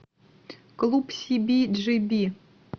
клуб си би джи би